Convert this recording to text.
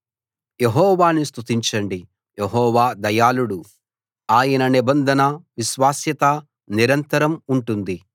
యెహోవాను స్తుతించండి యెహోవా దయాళుడు ఆయన నిబంధన విశ్వాస్యత నిరంతరం ఉంటుంది